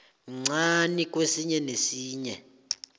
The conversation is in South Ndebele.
mncani kwesinye nesinye